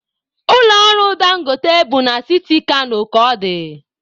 Ụlọ ọrụ Dangote bụ na siti Kano ka ọ dị.